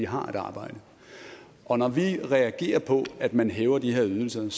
har et arbejde og når vi reagerer på at man hæver de her ydelser er